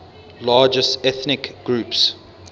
largest ethnic groups